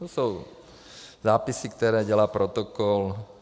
To jsou zápisy, které dělá protokol.